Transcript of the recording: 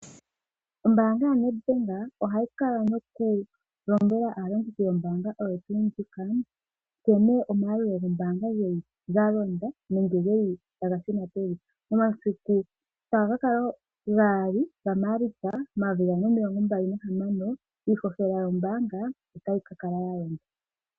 Ombaanga yo Nedbank ohayi kala noku lombwela aalongithi yombaanga oyo tuu ndjika nekene omayalulo goombaanga geli galonda nenge geli taga shuna pevi momasiku shotaga kakala gaali gaMaalitsa momayovi gaali nomilonga mbali nahamano iihohela otayi kakala yalonda.